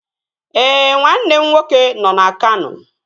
Ee, nwanne m nwoke nọ na Kano